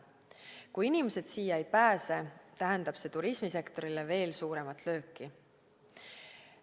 Kui inimesed siia ei pääse, tähendab see turismisektorile veel suuremat lööki.